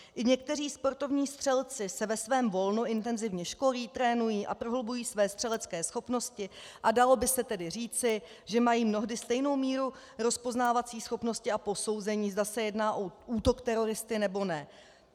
I někteří sportovní střelci se ve svém volnu intenzivně školí, trénují a prohlubují své střelecké schopnosti a dalo by se tedy říci, že mají mnohdy stejnou míru rozpoznávací schopnosti a posouzení, zda se jedná o útok teroristy, nebo ne.